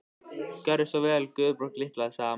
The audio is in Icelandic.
Gjörðu svo vel Guðbjörg litla, sagði amma.